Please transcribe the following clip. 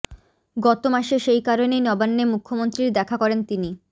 গত মাসে সেই কারণেই নবান্নে মুখ্যমন্ত্রীর দেখা করেন তিনি